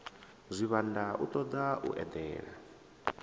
zwivhanda u toda u edela